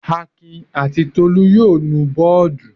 Akin àti Tolú yóò nu bọ́ọ́dù.